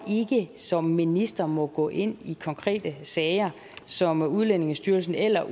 ikke som minister må gå ind i konkrete sager som udlændingestyrelsen eller